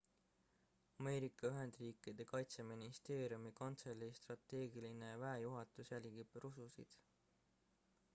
ameerika ühendriikide kaitseministeeriumi kantselei strateegiline väejuhatus jälgib rususid